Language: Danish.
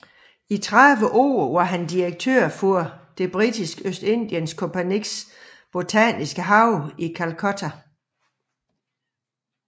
I 30 år var han direktør for det Britiske Østindiens Kompagnis botaniske have i Calcutta